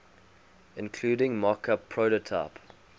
including mockup prototype